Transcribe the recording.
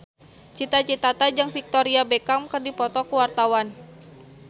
Cita Citata jeung Victoria Beckham keur dipoto ku wartawan